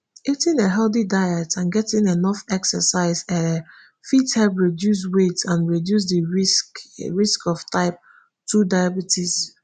eating a healthy diet and getting enough exercise um fit help reduce weight and reduce di risk risk of type two diabetes